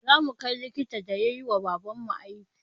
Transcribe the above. Zamu kai likitan da yayiwa baban mu aiki